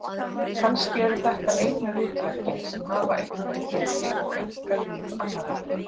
Kannski eru þetta einu ritverkin sem hafa eitthvert gildi og auðga líf annarra.